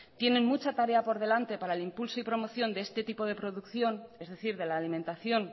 tienen mucha tarea por delante para el impulso y promoción de este tipo de producción es decir de la alimentación